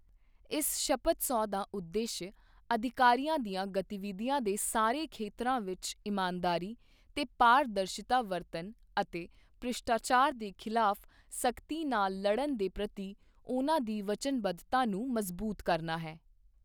ਇਸ ਸ਼ਪਥ ਸਹੁੰ ਦਾ ਉਦੇਸ਼ ਅਧਿਕਾਰੀਆਂ ਦੀਆਂ ਗਤੀਵਿਧੀਆਂ ਦੇ ਸਾਰੇ ਖੇਤਰਾਂ ਵਿੱਚ ਇਮਾਨਦਾਰੀ ਤੇ ਪਾਰਦਰਸ਼ਿਤਾ ਵਰਤਣ ਅਤੇ ਭ੍ਰਿਸ਼ਟਾਚਾਰ ਦੇ ਖਿਲਾਫ ਸਖਤੀ ਨਾਲ ਲੜਣ ਦੇ ਪ੍ਰਤੀ ਉਨ੍ਹਾਂ ਦੀ ਵਚਨਬੱਧਤਾ ਨੂੰ ਮਜ਼ਬੂਤ ਕਰਨਾ ਹੈ।